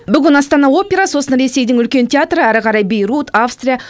бүгін астана опера сосын ресейдің үлкен театры әрі қарай бейрут австрия